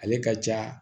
Ale ka ja